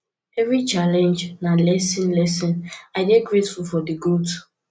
evri challenge na lesson lesson i dey grateful for di growth